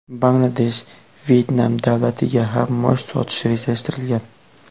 Bangladesh, Vyetnam davlatiga ham mosh sotish rejalashtirilgan.